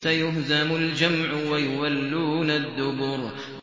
سَيُهْزَمُ الْجَمْعُ وَيُوَلُّونَ الدُّبُرَ